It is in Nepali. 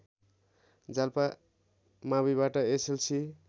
जाल्पा माविबाट एसएलसी